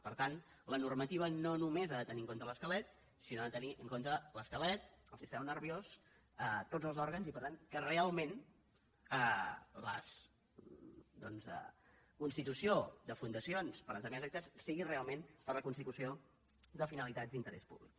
per tant la normativa no només ha de tenir en compte l’esquelet sinó que ha de tenir en compte l’esquelet el sistema nerviós tots els òrgans i per tant que real·ment la constitució de fundacions per a determinades activitats sigui realment per a la constitució de finali·tats d’interès públic